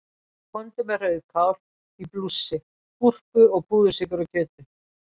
Komdu með rauðkál í blússi, gúrku og púðursykur á kjötið.